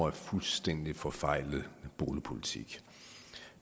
en fuldstændig forfejlet boligpolitik